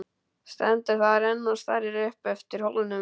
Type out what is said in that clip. Stendur þar enn og starir upp eftir hólnum.